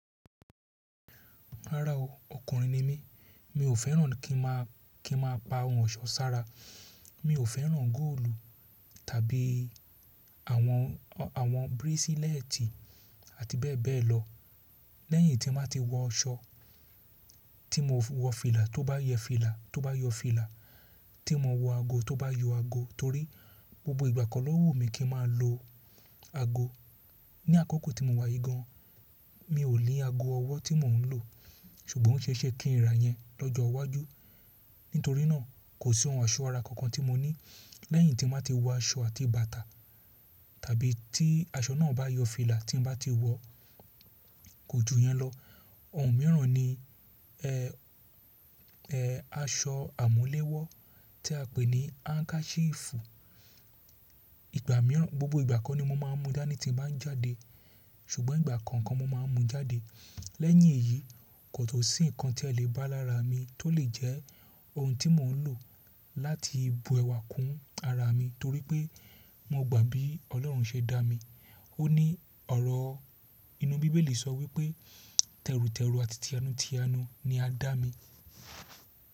Rárá o, ọkùnrin ni mí, mi ò fẹ́ràn kí n máa, kí n máa pa ohun ọ̀ṣọ́ sára. Mi ò fẹ́ràn góòlù tàbí àwọn, àwọn bírísílẹ́ẹ̀tì àti bẹ́ẹ̀ bẹ́ẹ̀ lọ. Lẹ́yìn tí mbá ti wọ aṣọ tí mo wọ fìlà tó bá yẹ fìlà, tó bá yọ fìlà, tí mo wọ ago tó bá yọ ago torí gbogbo ìgbà ko ló wù mí kí n máa lo ago. Ni àkókò tí mo wà yìí gan, mi ò ní ago ọwọ́ tí mò ń lò, ṣùgbọ́n ó ṣeéṣe kí n ra yẹn lọ́jọ́ iwájú. Nítorí náà, kò sí ohun ọ̀ṣọ́ ara kankan tí mo ní lẹ́yìn tí mbá ti wọ aṣọ àti bàtà tàbí tí aṣọ náà bá yọ fìlà tí n bá ti wọ, kò ju yẹn lọ. Ohun mìíràn ni-- aṣọ àmúlẹ́wọ́ tí a pè ní hankachiefù. Ìgbà mìíràn, gbogbo ìgbà ko ni mo máa n mú dànì tí n bá ń jáde, ṣùgbọ́n ìgbà kọ̀ọ̀kan mo máa n mú jáde. Lẹ́yìn èyí, kò tun sí nǹkan tí ẹ lè bá lára mi tó lè jẹ́ ohun tí mò ń lò láti bu ẹwà kún ara mi torí pé mo gbà bí Ọlọ́run ṣe dá mi. Ó ní ọ̀rọ̀ inú bíbélì sọ wípé tẹrutẹru àti tiyanu tiyanu ni a dá mi.